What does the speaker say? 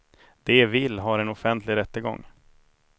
De vill har en offentlig rättegång.